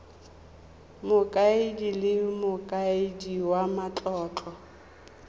mokaedi le mokaedi wa matlotlo